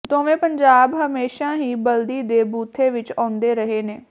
ਦੋਵੇਂ ਪੰਜਾਬ ਹਮੇਸ਼ਾ ਹੀ ਬਲ਼ਦੀ ਦੇ ਬੂਥੇ ਵਿਚ ਆਉਂਦੇ ਰਹੇ ਨੇ